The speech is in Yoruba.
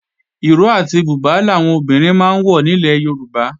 Ìró àti bùbá làwọn obìnrin máa ń wọ nílẹ̀ Yorùbá